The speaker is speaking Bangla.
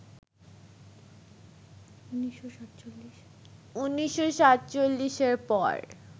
১৯৪৭-এর পর